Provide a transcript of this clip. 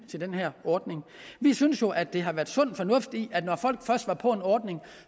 til den her ordning vi synes jo at der har været sund fornuft i at når folk først var på en ordning